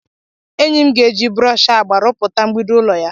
Enyi m ga-eji brọsh agba rupụta mgbidi ụlọ ya.